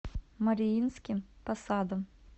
мариинским посадом